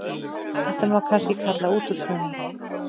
Þetta má kannski kalla útúrsnúning.